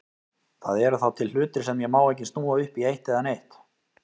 Það eru þá til hlutir sem ég má ekki snúa upp í eitt eða neitt.